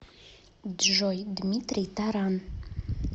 джой дмитрий таран